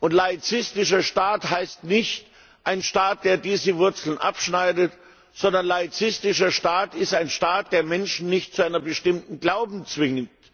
Ein laizistischer Staat ist nicht ein Staat, der diese Wurzeln abschneidet, sondern ein laizistischer Staat ist ein Staat, der Menschen nicht zu einem bestimmten Glauben zwingt.